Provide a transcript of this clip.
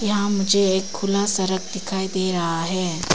यहां मुझे एक खुला सड़क दिखाई दे रहा है।